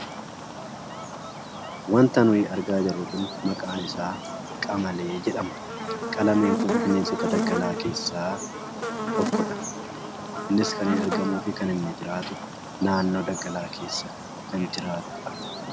Wanta nuyi argaa jirru kun maqaan isaa qamalee jedhama. Qamaleen kun bineensota daggalaa keessaa tokkodha. Innis kan inni argamuufi kan inni jiraatu naannoo daggalaa keesa kan jiraattuudha.